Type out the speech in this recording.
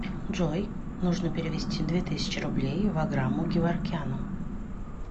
джой нужно перевести две тысячи рублей ваграму геворкяну